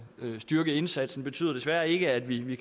styrke indsatsen betyder desværre ikke at vi